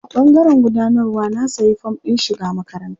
A ɓangaren gudanarwa na sayi form ɗin shiga makaranta.